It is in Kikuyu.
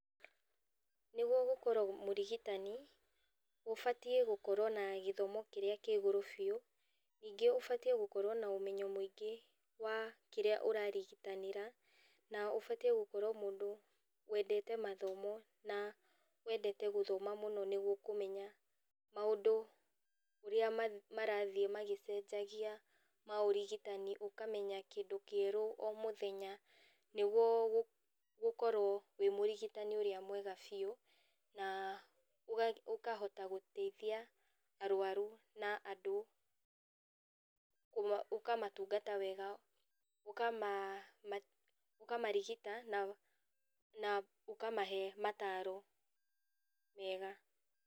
Nĩguo gũkorwo mũrigitani, ũbatiĩ gũkorwo na gĩthomo kĩrĩa kĩa igũrũ biũ, ningĩ ũbatiĩ gũkorwo na ũmenyo mũingĩ wa kĩrĩa ũrarigitanĩra na ũbatiĩ gũkorwo mũndũ wendete mathomo na wendete gũthoma mũno nĩguo kũmenya maũndũ ũrĩa marathiĩ magĩcenjagia ma ũrigitani ũkamenya kĩndũ kĩerũ omũthenya nĩguo ũkorwo wĩ mũrigitani ũrĩa mwega biũ na ũkahota gũteithia arwaru na andũ, na ũkamatungata wega, ũkamarigita na ũkamahe mataro mega.